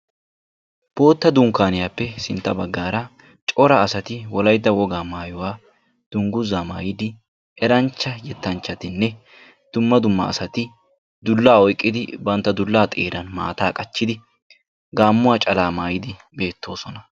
bootta dunkaaniyaappe sintta bagaara cora asati wolaytta wogaa maayuwa danguzaa maayidi dumma dumma asati dulaa oyqqidi banta dulaa xeeran maataa qachidi gaamuwa calaa maayidi beetoosona.